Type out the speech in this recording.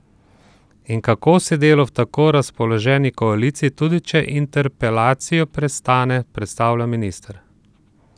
In kako si delo v tako razpoloženi koaliciji, tudi, če interpelacijo prestane, predstavlja minister?